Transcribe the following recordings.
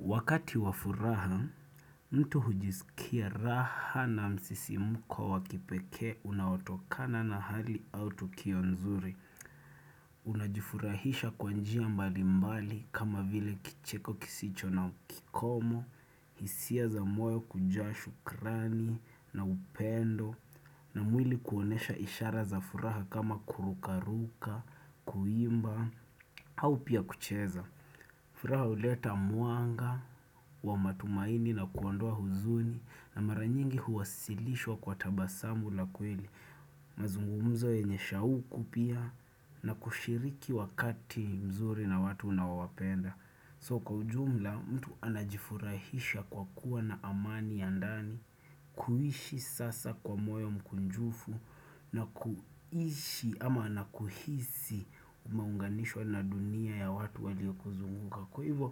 Wakati wa furaha, mtu hujisikia raha na msisimuko wa kipekee unawatokana na hali au tukio nzuri. Unajifurahisha kwa njia mbali mbali kama vile kicheko kisicho na kikomo, hisia za moyo kujaa shukrani na upendo na mwili kuonesha ishara za furaha kama kurukaruka, kuimba au pia kucheza. Furaha uleta mwanga wa matumaini na kuondoa huzuni na mara nyingi huwasilishwa kwa tabasamu la kweli. Mazungumzo yenye shauku pia na kushiriki wakati mzuri na watu unaowapenda. So kwa ujumla mtu anajifurahisha kwa kuwa na amani ya ndani kuishi sasa kwa moyo mkunjufu na kuishi ama na kuhisi umeunganishwa na dunia ya watu waliokuzunguka Kwa hivyo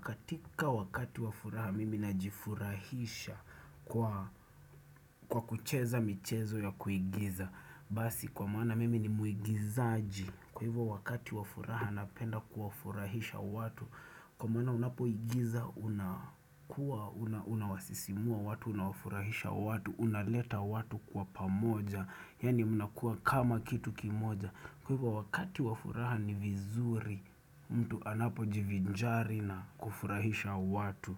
katika wakati wa furaha mimi najifurahisha kwa kucheza michezo ya kuigiza Basi kwa maana mimi ni muigizaji Kwa hivyo wakati wa furaha napenda kuwafurahisha watu, kwa maana unapoigiza unakua, unawasisimua watu, unawafurahisha watu, unaleta watu kwa pamoja, yaani mnakuwa kama kitu kimoja. Kwa hivyo wakati wa furaha ni vizuri, mtu anapo jivinjari na kufurahisha watu.